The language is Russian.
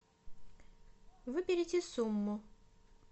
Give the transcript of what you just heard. выберите сумму